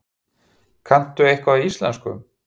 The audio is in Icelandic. Kanntu eitthvað í íslensku?